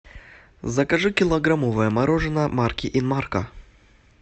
закажи килограммовое мороженое марки инмарко